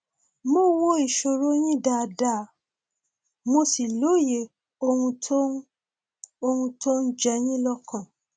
mo wo ìṣòro yín dáadáa mo sì lóye ohun tó ń ohun tó ń jẹ yín lọkàn